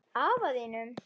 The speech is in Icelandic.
Afa þínum?